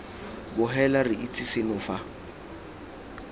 bogela re itse seno fa